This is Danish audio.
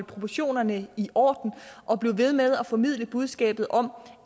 proportionerne i orden og blive ved med at formidle budskabet om